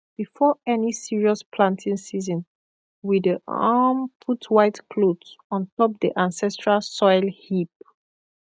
before any serious planting season we dey um put white cloth on top the ancestral soil heap